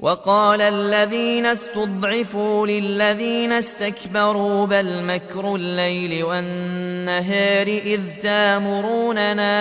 وَقَالَ الَّذِينَ اسْتُضْعِفُوا لِلَّذِينَ اسْتَكْبَرُوا بَلْ مَكْرُ اللَّيْلِ وَالنَّهَارِ إِذْ تَأْمُرُونَنَا